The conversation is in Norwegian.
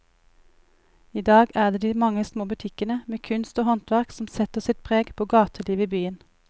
I dag er det de mange små butikkene med kunst og håndverk som setter sitt preg på gatelivet i byen.